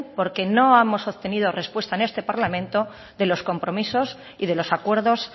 porque no hemos obtenido porque no hemos obtenido respuesta en este parlamento de los compromisos y los acuerdos